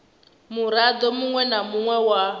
murado munwe na munwe wa